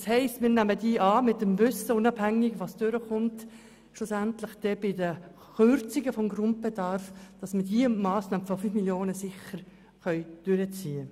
Das heisst, wir nehmen diesen Antrag im Wissen darum an, dass wir diese Massnahme von 5 Mio. Franken unabhängig davon umsetzen können, was schlussendlich bei den Kürzungen des Grundbedarfs durchkommen wird.